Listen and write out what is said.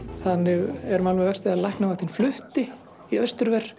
þannig er mál með vexti að læknavaktin flutti í